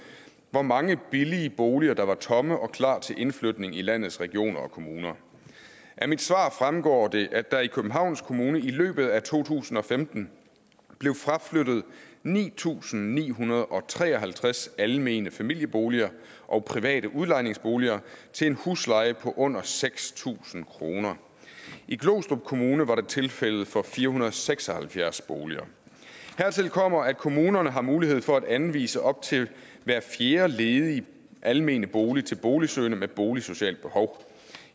hvor mange billige boliger der var tomme og klar til indflytning i landets regioner og kommuner af mit svar fremgår det at der i københavns kommune i løbet af to tusind og femten blev fraflyttet ni tusind ni hundrede og tre og halvtreds almene familieboliger og private udlejningsboliger til en husleje på under seks tusind kroner i glostrup kommune var det tilfældet for fire hundrede og seks og halvfjerds boliger hertil kommer at kommunerne har mulighed for at anvise op til hver fjerde ledige almene bolig til boligsøgende med et boligsocialt behov